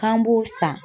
K'an b'o san